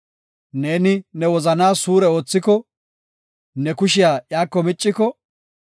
Neeni ne wozanaa suure oothiko, ne kushiya iyako micciko,